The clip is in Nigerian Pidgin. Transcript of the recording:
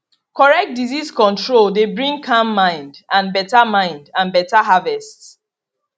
correct disease control dey bring calm mind and better mind and better harvest